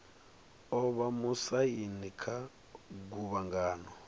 o vha musaini kha guvhangano